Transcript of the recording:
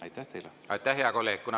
Aitäh, hea kolleeg!